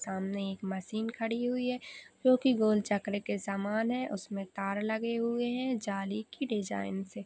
सामने एक मशीन खड़ी हुई है जो की गोल चकरी के सामान है उसमे तार लगे हुए है जाली की डिजाइन से--